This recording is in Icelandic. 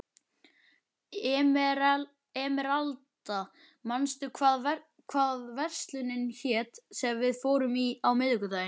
Emeralda, manstu hvað verslunin hét sem við fórum í á miðvikudaginn?